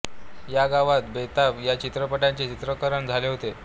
या गावात बेताब या चित्रपटाचे चित्रीकरण झाले होते